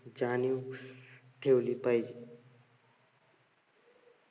जाणीव ठेवली पाहिजे.